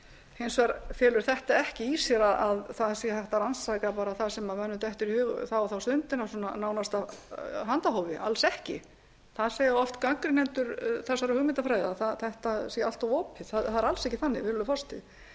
hins vegar felur þetta ekki í sér að það sé hægt að rannsaka bara það sem mönnum dettur í hug þá og þá stundina nánast af handahófi alls ekki það segja oft gagnrýnendur þessarar hugmyndafræði að þetta sé allt of opið það er alls ekki þannig virðulegur forseti